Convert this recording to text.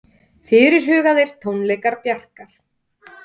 Fyrirhugaðir tónleikar Bjarkar